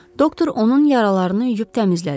Doktor onun yaralarını yuyub təmizlədi.